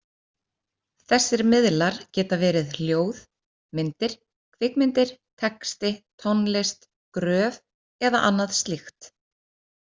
Þessir miðlar geta verið hljóð, myndir, kvikmyndir, texti, tónlist, gröf eða annað slíkt.